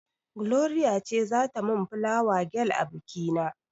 Gloria ce za ta mun fulawa gel a biki na.